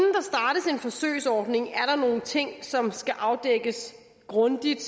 forsøgsordning er der nogle ting som skal afdækkes grundigt